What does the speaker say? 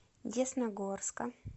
десногорска